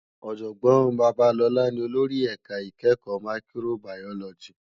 Òjògbòn Babalola ni ólórì èká ikèékò máìkróbáyólòjí